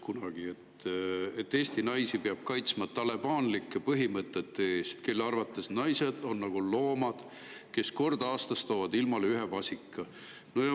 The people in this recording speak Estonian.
et Eesti naisi peab "kaitsma talibanlike põhimõtete eest, kelle arvates naised on nagu loomad, kes kord aastas toovad ilmale ühe vasika".